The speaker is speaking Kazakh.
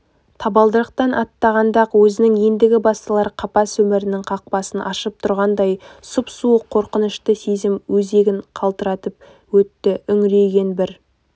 табалдырықтан аттағанда-ақ өзінің ендігі басталар қапас өмірінің қақпасын ашып тұрғандай сұп-суық қорқынышты сезім өзегін қалтыратып өтті үңірейген бір